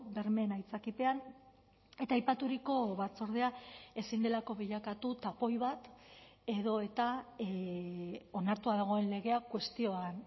bermeen aitzakipean eta aipaturiko batzordea ezin delako bilakatu tapoi bat edo eta onartua dagoen legea kuestioan